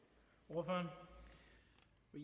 hvor